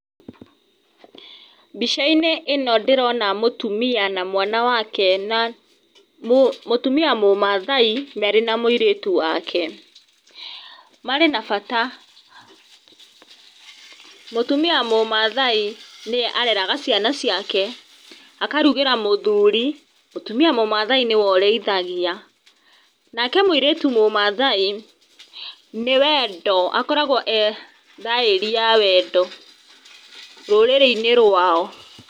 Mbica-inĩ ĩno ndĩrona mũtumia na mwana wake na, mũtumia mũmaathai marĩ na mũirĩtu wake. Marĩ na bata. Mũtumia mũmaathai nĩ ye areraga ciana ciake, akarugĩra mũthuri. Mũtumia nĩ we ũrĩithagia. Nake mũrĩtu mũmaathai, nĩ wendo, akoragwo e thaĩri ya wendo rũrĩrĩ-inĩ rwao.